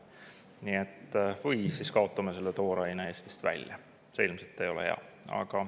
Või see tooraine Eestist välja ja see ilmselt ei ole hea.